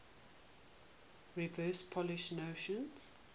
reverse polish notation